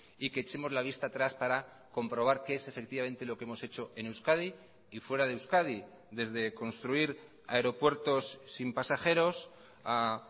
y que echemos la vista atrás para comprobar qué es efectivamente lo que hemos hecho en euskadi y fuera de euskadi desde construir aeropuertos sin pasajeros a